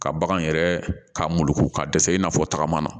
Ka bagan yɛrɛ k'a muluku ka dɛsɛ i n'a fɔ tagama na